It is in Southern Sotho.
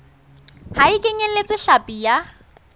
ha e kenyeletse hlapi ya